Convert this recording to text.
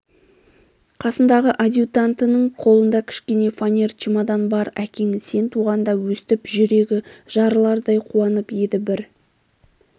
қасындағы адъютантының қолында кішкене фонер чемодан бар әкең сен туғанда өстіп жүрегі жарылардай қуанып еді бір